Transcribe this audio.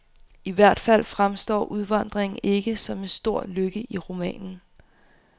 I hvert fald fremstår udvandringen ikke som en stor lykke i romanen.